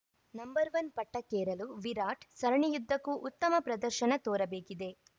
number one ಪಟ್ಟಕ್ಕೇರಲು ವಿರಾಟ್‌ ಸರಣಿಯುದ್ದಕ್ಕೂ ಉತ್ತಮ ಪ್ರದರ್ಶನ ತೋರಬೇಕಿದೆ